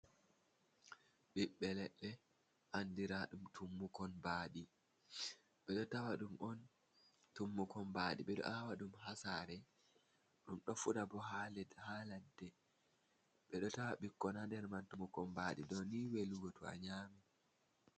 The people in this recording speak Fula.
Ɓiɓɓe leɗɗe, anɗira ɗum tummukon ɓaaɗi. :e ɗo tawa ɗum on, tummukon ɓaaɗi. Ɓe ɗo awa ɗum ha sare. Ɗum ɗo fuɗa ɓo ha leɗɗ ha laɗɗe. Ɓe ɗo tawa ɓikkon ha nɗer man. Tummukon ɓaaɗi ɗo ni welugo to a nyami.